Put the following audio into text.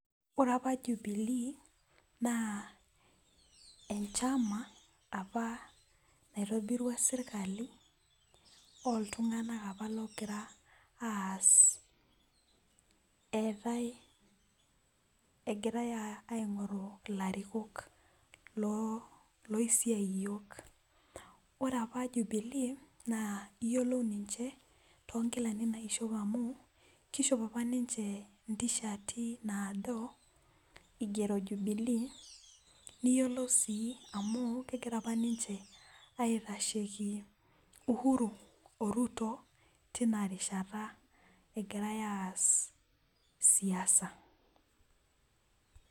Ore apa jubili naa enchama apa nairobirua sirkali oltunganak apa engirae aingoru ilarikok loisiai iyiok. ore apa jubilii naa iyiolo niche toonkilani naishopi amu kishop apa ninche ntishati naado igero jubilee naa iyiolou amu kegira apa ninche aitasheki uhuru oruto tina rishata egiare aas siasa.